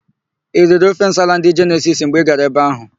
I riri ofe nsala ndị Jenesisi mgbe Ị gara ebe áhụ̀?